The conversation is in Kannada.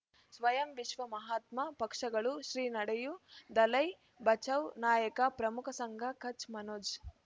ಸ್ವಯಂ ವಿಶ್ವ ಮಹಾತ್ಮ ಪಕ್ಷಗಳು ಶ್ರೀ ನಡೆಯೂ ದಲೈ ಬಚೌ ನಾಯಕ ಪ್ರಮುಖ ಸಂಘ ಕಚ್ ಮನೋಜ್